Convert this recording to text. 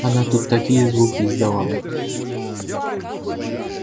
она тут такие звуки издавала